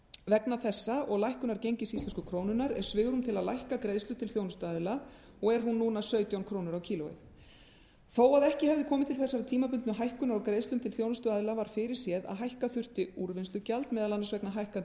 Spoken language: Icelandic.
vegna þessa og lækkunar gengis íslensku krónunnar er svigrúm til að lækka greiðslu til þjónustuaðila og er hún núna sautján krónur á kíló þó að ekki hefði komið til þessarar tímabundnu hækkunar á greiðslum til þjónustuaðila var fyrirséð að hækka þyrfti úrvinnslugjald meðal annars vegna hækkandi